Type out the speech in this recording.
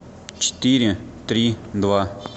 четыре три два